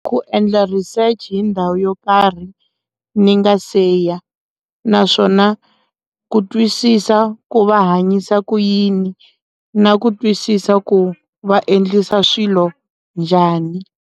Ku endla research hi ndhawu yo karhi ni nga siya naswona ku twisisa ku va hanyisa ku yini na ku twisisa ku vaendlisa swilo njhani.